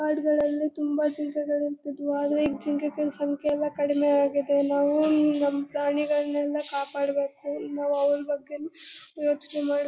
ಕಾಡ್ಗಳಲ್ಲಿ ತುಂಬಾ ಜಿಂಕೆಗಳು ಇರ್ತಿದ್ವು ಆದ್ರೆ ಈಗ ಜಿಂಕೆಗಳ ಸಂಖ್ಯೆಗಳ್ ಎಲ್ಲ ಕಡಿಮೆ ಆಗಿದೆ ನಾವುವು ನಮ್ ಪ್ರಾಣಿಗಳನೆಲ್ಲ ಕಾಪಾಡಬೇಕು ನಾವು ಅವರ ಬಗ್ಗೆನೂ ಯೋಚನೆ ಮಾಡ್ಬೇ --